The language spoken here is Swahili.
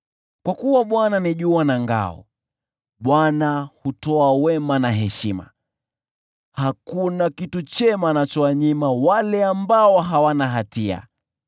Kwa kuwa Bwana ni jua na ngao, Bwana hutoa wema na heshima; hakuna kitu chema anachowanyima wale ambao hawana hatia.